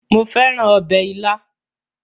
Mo fẹ́ràn ọbẹ̀ ilá